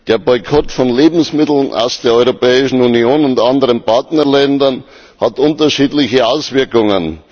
Der Boykott von Lebensmitteln aus der Europäischen Union und anderen Partnerländern hat unterschiedliche Auswirkungen.